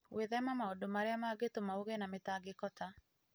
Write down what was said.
Gwĩthema maũndũ marĩa mangĩtũma ũgĩe na mĩtangĩko ta